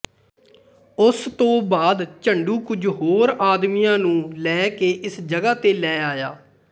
ਉਸ ਤੋ ਬਾਅਦ ਝੰਡੂ ਕੁਝ ਹੋਰ ਆਦਮੀਆਂ ਨੂੰ ਲੈ ਕੇ ਇਸ ਜਗ੍ਹਾ ਤੇ ਲੈ ਆਇਆ